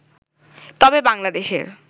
তবে বাংলাদেশের